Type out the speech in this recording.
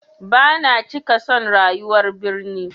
Bana cika son rayuwar birni.